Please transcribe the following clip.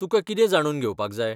तुकां कितें जाणून घेवपाक जाय?